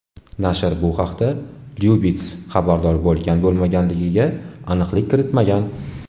Nashr bu haqda Lyubits xabardor bo‘lgan-bo‘lmaganligiga aniqlik kiritmagan.